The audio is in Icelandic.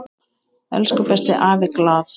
Elsku besti afi Glað.